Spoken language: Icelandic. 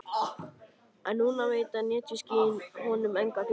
En nú veita netjuskýin honum enga gleði.